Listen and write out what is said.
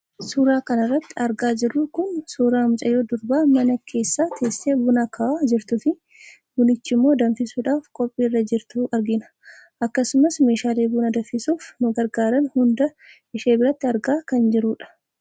Suuraa kanarratti argaa jirru kun suuraa mucayyoo durbaa mana keessa teessee buna hakaawaa jirtuufi bunichammoo danfisuudhaaf qophii irra jirtu argina. Akkasumas meshaalee buna danfisuuf nu gargaaran hunda ishee biratti argaa kan jirrudha.